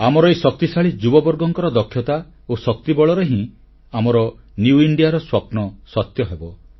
ଆମର ଏହି ଶକ୍ତିଶାଳୀ ଯୁବବର୍ଗଙ୍କ ଦକ୍ଷତା ଓ ଶକ୍ତି ବଳରେ ହିଁ ଆମର ନିଉ ଇଣ୍ଡିଆର ସ୍ୱପ୍ନ ସତ୍ୟ ହେବ